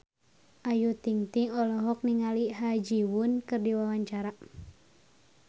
Ayu Ting-ting olohok ningali Ha Ji Won keur diwawancara